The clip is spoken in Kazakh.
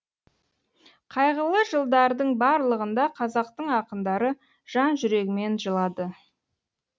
қайғылы жылдардың барлығында қазақтың ақындары жан жүрегімен жылады